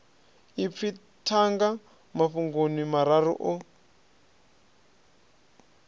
ipfi thanga mafhungoni mararu o